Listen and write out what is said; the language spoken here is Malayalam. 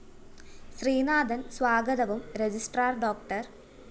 ശ്രീനാഥന്‍ സ്വാഗതവും രജിസ്ട്രാർ ഡോ